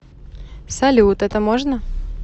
салют это можно